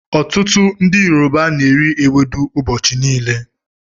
Ọtụtụ ndị Yoruba n'eri ewedu ụbọchị niile